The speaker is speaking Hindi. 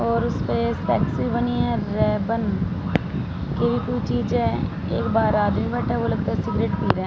और उसपे बनी है रैबन के भी कुछ चीजें है एक बार आधी बटा वो लगता है सिगरेट पी रहे--